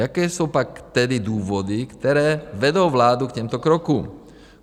Jaké jsou pak tedy důvody, které vedou vládu k těmto krokům?